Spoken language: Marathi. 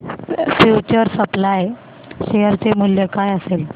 फ्यूचर सप्लाय शेअर चे मूल्य काय असेल